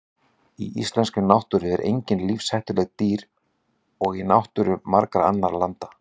Í íslenskri náttúru eru engin lífshættuleg dýr líkt og í náttúru margra annarra landa.